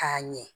K'a ɲɛ